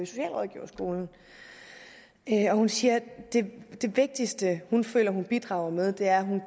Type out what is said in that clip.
socialrådgiverskolen og hun siger at det vigtigste hun føler hun bidrager med er at hun